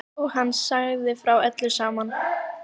Og hann sagði frá öllu saman.